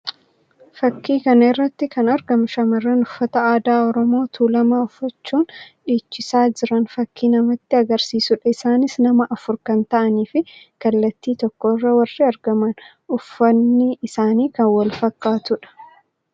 Fakkii kana irratti kan argamu shamarran uffata aadaa Oromoo Tuulamaa uffachuun dhiichisaa jiran fakkii namatti agarsiisuu dha. Isaanis nama afur kan ta'anii fi kallattii tokko irratti warri argaman uffanni isaanii kan wal fakkaatuu dha.